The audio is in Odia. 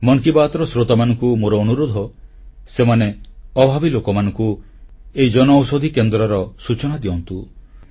ମନ୍ କି ବାତ୍ର ଶ୍ରୋତାମାନଙ୍କୁ ମୋର ଅନୁରୋଧ ସେମାନେ ଅଭାବୀ ଲୋକମାନଙ୍କୁ ଏହି ଜନଔଷଧି କେନ୍ଦ୍ରର ସୂଚନା ଦିଅନ୍ତୁ